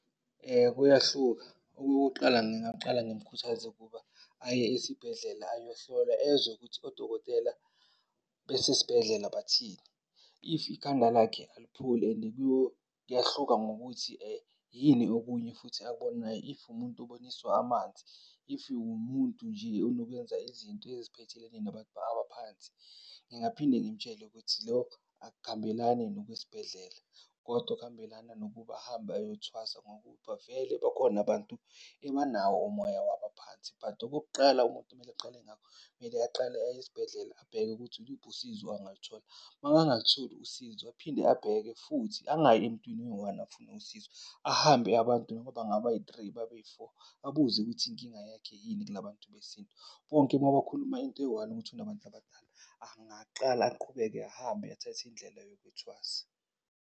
Kuyahluka. Okokuqala, ngingaqala ngimkhuthaze ukuba aye esibhedlela ayohlolwa ezwe ukuthi odokotela besesibhedlela bathini? If ikhanda lakhe alipholi, and kuyahluka ngokuthi yini okunye futhi akubonayo. If umuntu obonisiwe amanzi, if umuntu nje onokuyenza izinto eziphethelene nabantu abaphansi. Ngingaphinde ngimtshele ukuthi lokhu akuhambelani nokwesibhedlela, kodwa kuhambelana nokuba ahambe ayothwasa ngoba vele bakhona abantu, ebanawo umoya wabaphansi. But okokuqala umuntu kumele aqale ngakho, kumele aqale aye esibhedlela abheke ukuthi yiluphi usizo angaluthola. Makangalitholi usizo aphinde abheke futhi angayi emntwini oyi-one afune usizo. Ahambe abantu noma bangabayi-three bababeyi-four abuze ukuthi inkinga yakhe yini kula bantu besintu. Bonke uma bakhuluma into eyi-one, ukuthi unabantu abadala angakaqala, aqhubeke ahambe athathe indlela yokuyothwasa.